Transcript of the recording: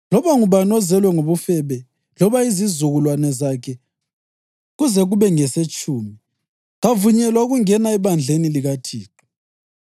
Loba ngubani ozelwe ngobufebe loba izizukulwane zakhe kuze kube ngesetshumi, kavunyelwa ukungena ebandleni likaThixo.